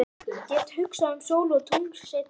Get hugsað um sól og tungl seinna.